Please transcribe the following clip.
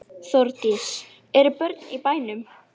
Þá fokið er í eitt skjól er ófennt í annað.